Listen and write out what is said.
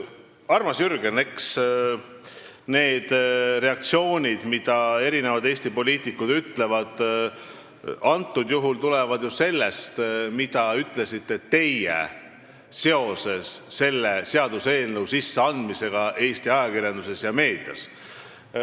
Armas Jürgen, eks need reaktsioonid, mis erinevatel Eesti poliitikutel on olnud, on antud juhul tulenenud ju sellest, mida ütlesite teie Eesti ajakirjanduses seoses selle seaduseelnõu menetlusse andmisega.